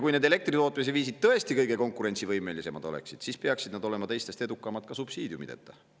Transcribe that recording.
Kui need elektritootmise viisid oleksid tõesti kõige konkurentsivõimelisemad, siis peaksid need olema teistest edukamad ka subsiidiumideta.